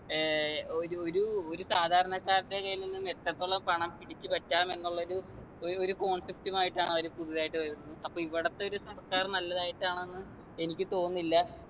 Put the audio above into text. ഏർ ഒര് ഒരു ഒരു സാധാരണക്കാരൻ്റെ കയ്യിൽ നിന്നും എത്രത്തോളം പണം പിടിച്ചു പറ്റാം എന്നുള്ളൊരു ഒര് ഒരു concept മായിട്ടാണ് അവര് പുതുതായിട്ട് വരുന്നത് അപ്പൊ ഇവിടത്തെ ഒരു സർക്കാർ നല്ലതായിട്ടാണെന്ന് എനിക്ക് തോന്നുന്നില്ല